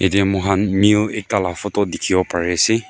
Yate moikhan mill ekta la photo dekhibo pari ase.